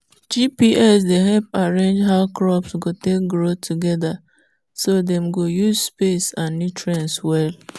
gps dey help arrange how crops go take grow together so dem go use space and nutrients well.